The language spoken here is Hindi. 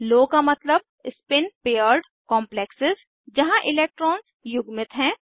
लो का मतलब स्पिन पेयर्ड कॉम्प्लेक्सेज़ जहाँ इलेक्ट्रॉन्स युग्मित हैं